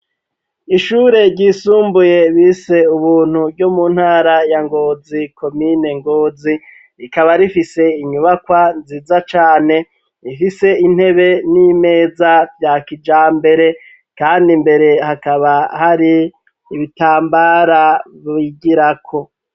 Ishure ryisumbuye bise "Ubuntu", ryo mu ntara ya Ngozi, komine Ngozi, rikaba rifise inyubakwa nziza cane, ifise intebe n'imeza rya kijambere kandi imbere hakaba hari ibitambara bigirako.